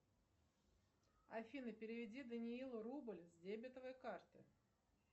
афина переведи даниилу рубль с дебетовой карты